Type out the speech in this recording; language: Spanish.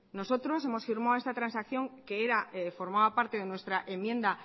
nosotros hemos firmado esta transacción que era formaba parte de nuestra enmienda